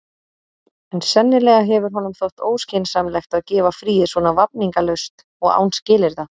En sennilega hefur honum þótt óskynsamlegt að gefa fríið svona vafningalaust og án skilyrða.